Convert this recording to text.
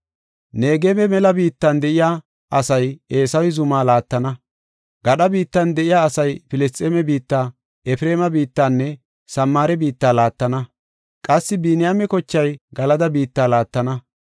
Negebe mela biittan de7iya asay Eesawe zuma laattana; gadha biittan de7iya asay Filisxeeme biitta, Efreema biittanne Samaare biitta laattana. Qassi Biniyaame kochay Galada biitta laattana.